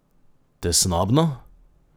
Tesnobno?